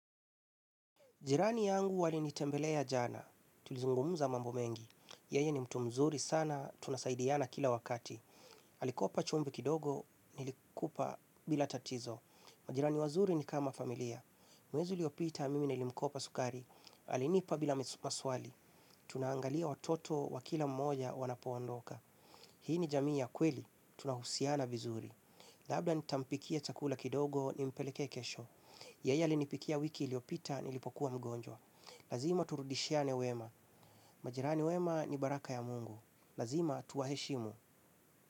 Jirani yangu alinitembelea jana, tulizungumuza mambo mengi. Yeye ni mtu mzuri sana, tunasaidiana kila wakati. Alikopa chumvi kidogo, nilikupa bila tatizo. Majirani wazuri ni kama familia. Mwezi uliopita mimi nilimkopa sukari. Halinipa bila maswali. Tunaangalia watoto wa kila mmoja wanapoondoka. Hii ni jamii ya kweli, tunahusiana vizuri. Labda nitampikia chakula kidogo, nimpeleke kesho. Yeye alinipikia wiki iliyopita, nilipokuwa mgonjwa. Lazima turudishiane wema. Majirani wema ni baraka ya mungu. Lazima tuwaheshimu.